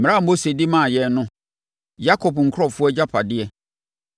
mmara a Mose de maa yɛn no: Yakob nkurɔfoɔ agyapadeɛ.